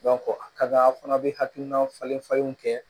a ka d'a' fana bɛ hakilina falen falenw kɛ